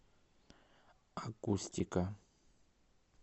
акустика